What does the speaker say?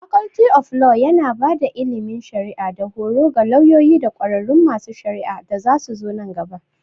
Faculty of Law yana ba da ilimin shari'a da horo ga lauyoyi da ƙwararrun masu shari'a da zasuzo nan gaba.